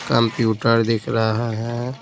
Computer दिख रहा है।